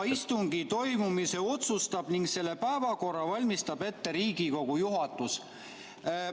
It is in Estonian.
"Täiendava istungi toimumise otsustab ning selle päevakorra valmistab ette Riigikogu juhatus.